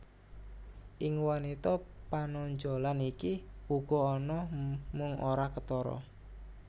Ing wanita panonjolan iki uga ana mung ora ketara